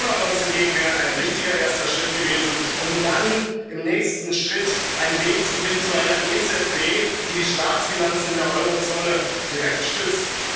in der Zukunft. Corona Bonds hingegen wären ein richtiger erster Schritt gewesen, um dann im nächsten Schritt einen Weg zu finden zu einer EZB, die die Staatsfinanzen in der Eurozone